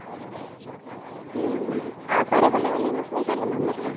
ହ୍ମ ଆଉ କୁଆଡେ ବୁଲେଇବାକୁ ନେଇନଥିଲେ ଖାଲି ମନ୍ଦିର